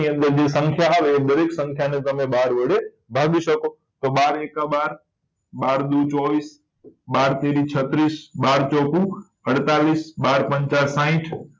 ની અંદર બધી સંખ્યા આવે એને બાર વડે ભાગી શકો તમે તો બાર એકા બાર બાર દૂ ચોવીસ બાર તરી છત્રીસ બાર ચોકુ અડતાલીસ બાર પંચા સાહિથ